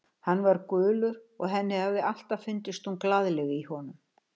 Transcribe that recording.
Hann var gulur og henni hafði alltaf fundist hún glaðleg í honum.